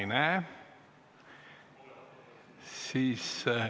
Ma ei näe teda.